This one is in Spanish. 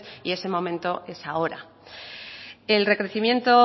y ese momento es ahora el recrecimiento